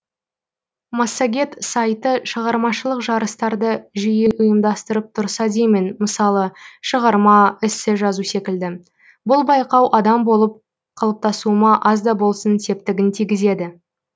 массагет сайты шығармашылық жарыстарды жиі ұйымдастырып тұрса деймін мысалы шығарма эссе жазу секілді бұл байқау адам болып қалыптасуыма аз да болсын септігін тигізеді